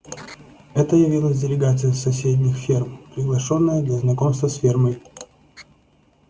это явилась делегация с соседних ферм приглашённая для знакомства с фермой